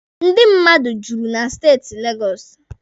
Ndị mmadụ juru na steeti Legọsụ.